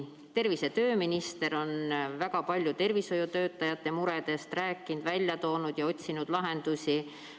Tervise- ja tööminister on väga palju tervishoiutöötajate muredest rääkinud ning otsinud lahendusi.